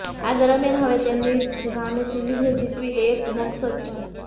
આ દરમ્યાન હવે તેમની સામે સિરીઝને જીતવી એ જ એક મકસદ છે